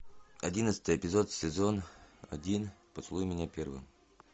одиннадцатый эпизод сезон один поцелуй меня первым